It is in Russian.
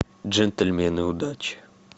джентльмены удачи